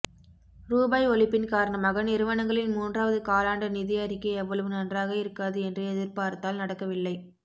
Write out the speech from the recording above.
ரூபாய் ஒழிப்பின் காரணமாக நிறுவனங்களின் மூன்றாவது காலாண்டு நிதி அறிக்கை அவ்வளவு நன்றாக இருக்காது என்று எதிர்பார்த்தால் நடக்கவில்லை